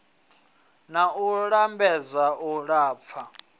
na u lambedza u lafha